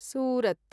Surat